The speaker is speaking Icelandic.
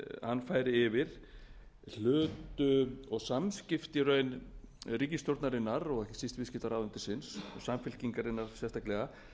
hann færi yfir hlut og samskipti í raun ríkisstjórnarinnar og ekki síst viðskiptaráðuneytisins og samfylkingarinnar sérstaklega